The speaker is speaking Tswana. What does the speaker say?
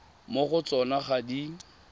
mo go tsona ga di